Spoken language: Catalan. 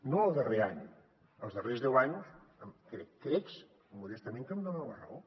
no el darrer any els darrers deu anys crec modestament que em dona la raó